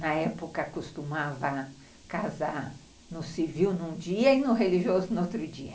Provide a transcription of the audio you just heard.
Na época, eu costumava casar no civil num dia e no religioso no outro dia.